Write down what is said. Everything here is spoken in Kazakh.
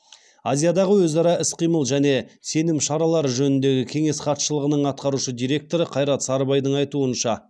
азиядағы өзара іс қимыл және сенім шаралары жөніндегі кеңес хатшылығының атқарушы директоры қайрат сарыбайдың айтуынша